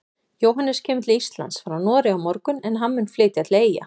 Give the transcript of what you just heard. Jóhannes kemur til Íslands frá Noregi á morgun en hann mun flytja til Eyja.